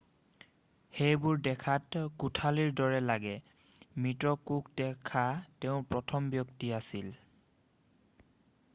সেইবোৰ দেখাত কোঠালিৰ দৰে লাগে মৃত কোষ দেখা তেওঁ প্ৰথম ব্যক্তি আছিল